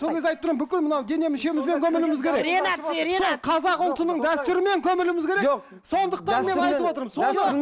сол кезді айтып тұрмын бүкіл мынау дене мүшемізбен көмілуіміз керек қазақ ұлтының дәстүрімен көмілуіміз керек жоқ сондықтан мен айтып отырмын